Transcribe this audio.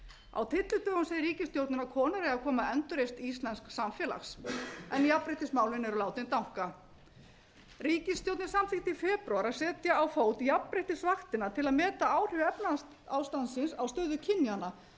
á tyllidögum segir ríkisstjórnin að konur eigi að koma að endurreisn íslensks samfélags en jafnréttismálin eru látin danka ríkisstjórnin samþykkti í febrúar að segja á fót jafnréttisvaktina til að meta áhrif efnahagsástandsins á stöðu kynjanna og sagðist vera einhuga um